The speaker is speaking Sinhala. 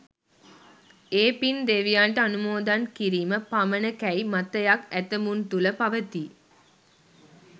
ඒ පින් දෙවියන්ට අනුමෝදන් කිරීම පමණකැයි මතයක් ඇතැමුන් තුළ පවතී.